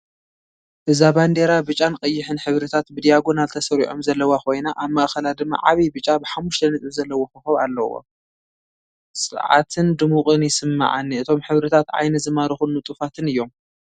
እዛ ባንዴራ ብጫን ቀይሕን ሕብርታት ብዳያጎናል ተሰሪዖም ዘለዋ ኮይና፡ ኣብ ማእከላ ድማ ዓቢ ብጫ ሓሙሽተ ነጥቢ ዘለዎ ኮኾብ ኣለዎ። ጸዓትን ድሙቕን ይስምዓኒ! እቶም ሕብርታት ዓይኒ ዝማርኹን ንጡፋትን እዮም።